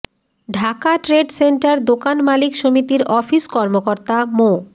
Dhaka trade centre দোকান মালিক সমিতির অফিস কর্মকর্তা মো